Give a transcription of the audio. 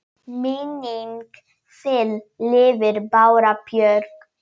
Minning þin lifir, Bára Björk.